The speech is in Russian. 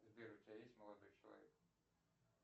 сбер у тебя есть молодой человек